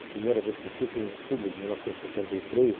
A primeira vez que eu fui foi em outubro de mil novecentos e setenta e três